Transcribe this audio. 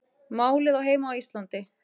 Málið á heima á Íslandi